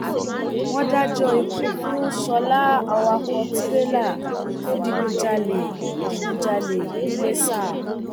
wọn dájọ ikú fún sọlá awakọ tìrẹlà tó digunjalè digunjalè ńìlasa